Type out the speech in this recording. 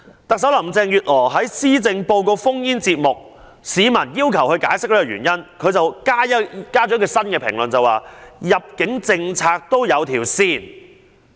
特首林鄭月娥在施政報告 phone-in 節目中被問及有關原因，她新增了一個評論，指入境政策也有一條線。